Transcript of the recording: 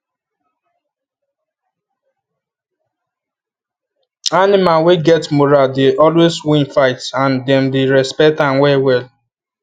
animal wey get moral dey always win fights and them dey respect am well well